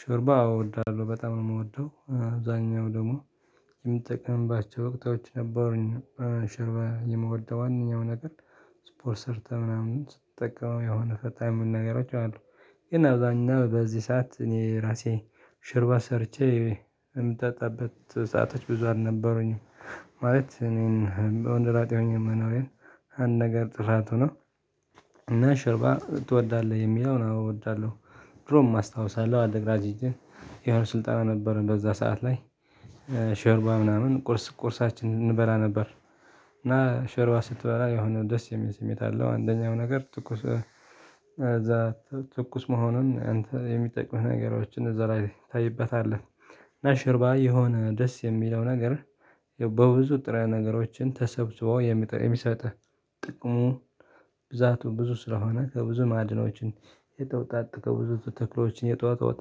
ሾርባ እወድዳለሁ በጣም ነው የምወደው አብዛኛው ደግሞ የምጠቀምባቸው ወቅቶች ነበሩኝ። ሾርባ የምወደው ዋናው ነገር ስፖርት ምሰርተ ናምን ስትጠቀመው የሆነ ፈታ የሚል ነገሮች አሉ። ግን አብዛኛው በዚህ ሰዓት እኔ ራሴ ሾርባ ሰርቼ የምጠጣበት ሰአቶች ብዙ አልነበሩኝም። ማለት እኔን ወንድ ላጤ ሆኜ መኖሬን አንድ ነገር ጥፋት ሆኖ እና ሾርባ ትወዳለህ የሚለውን እወዳለሁ። ድሮም አስታውሳለሁ አለ ግራጅ የሆነ ስልጣን ነበር በዛ ሰዓት ላይ። ሾርባ ምናምን ቁርስ ቁርሳችን እንበላ ነበር። እና ሾርባ ስትበላ የሆነ ደስ የሚል ስሜት አለው አንደኛው ነገር ትኩስ እዛ ትኩስ መሆኑን አንተ የሚጠቅምህ ነገሮችን እዛ ላይ ታይበታለህ። እና ሾርባ የሆነ ደስ የሚለው ነገር በብዙ ንጥረ ነገሮችን ተሰብስበው የሚሰጥህ። ጥቅሙ ብዛቱ ብዙ ስለሆነ ከብዙ ማዕድኖች የተወጣጠ ከብዙ ተክሎችም የተወጣጣ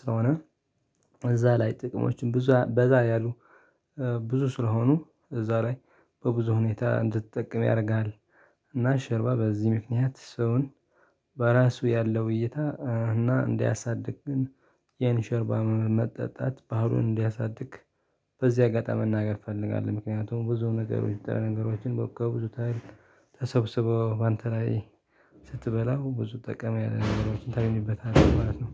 ስለሆነ። እዛ ላይ ጥቅሞችን ብዙ በዛ ያሉ ብዙ ስለሆኑ እዛ ላይ በብዙ ሁኔታ እንድትጠቀም ያደርጋል። እና ሾርባ በዚህ ምክንያት ሰውን በራሱ ያለው እይታ እና እንዲያሳድግ ግን ይሄን ሾርባም መጠጣት ባህሉን እንዲያሳድግ። በዚህ አጋጣሚ መናገር እፈልጋለሁ ምክንያቱም ብዙ ነገሮች የምታየው ነገሮችን በቃ ብዙ ታያለህ ተሰብስበው በአንተ ላይ ስትበላው ብዙ ጠቀሜታ ያለ ነገሮችን ታግኝበታለህ ማለት ነው።